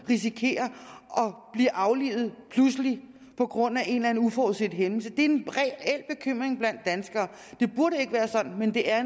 risikerer at blive aflivet på grund af en eller anden uforudset hændelse det er en reel bekymring blandt danskere det burde ikke være sådan men det er